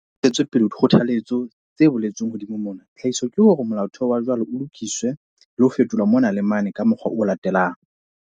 Hore ho ntshetswe pele dikgothalletso tse boletsweng hodimo mona, tlhahiso ke hore molaotheo wa jwale o lokiswe le ho fetolwa mona le mane ka mokgwa o latelang.